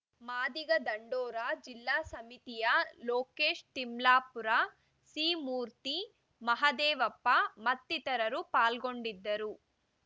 ಮಾದಿಗ ದಂಡೋರ ಜಿಲ್ಲಾ ಸಮಿತಿಯ ಲೋಕೇಶ್‌ ತಿಮ್ಲಾಪುರ ಸಿಮೂರ್ತಿ ಮಹದೇವಪ್ಪ ಮತ್ತಿತರರು ಪಾಲ್ಗೊಂಡಿದ್ದರು